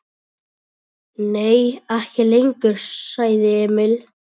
Nei, ekki lengur, sagði Emil.